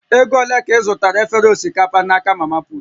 Ego ole ka ị zụtara efere osikapa n'aka mamaput?